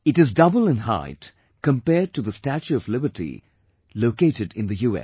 It is double in height compared to the 'Statue of Liberty' located in the US